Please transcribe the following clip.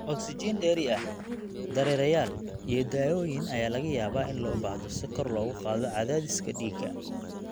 Ogsajiin dheeri ah, dareereyaal, iyo daawooyin ayaa laga yaabaa in loo baahdo si kor loogu qaado cadaadiska dhiigga.